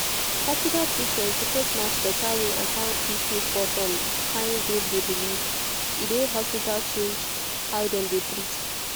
hospital treatment suppose match better way and how people for som kyn group de believe e de hospital change how dem dey treat